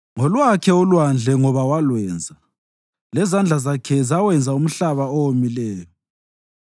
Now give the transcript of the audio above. Ngolwakhe ulwandle ngoba walwenza, lezandla zakhe zawenza umhlaba owomileyo.